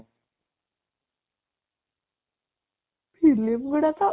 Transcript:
film ଗୁଡା ତ